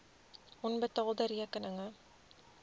onbetaalde rekeninge